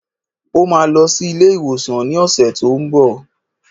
Ó máa lọ sí ilé-ìwòsàn ní ọ̀sẹ̀ tó n bọ̀.